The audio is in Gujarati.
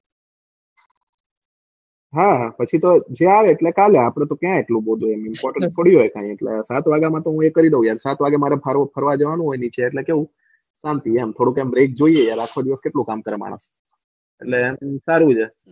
હા પછી તો જ્યાં હોય એટલે ચાલ્યા આપડે તો ક્યાં એટલું ગોતવું છે સાત વાગ્યા માટે તો પોંખ્યો હોય ગરે સાત વાગ્યે મારે ફરવા જવાનું હોય નીચે એટલે કેવું શાંતિ એમ જોઈએ આખો દિવસ કેટલું કામ કરવાનું હોય એટલે સારું છે.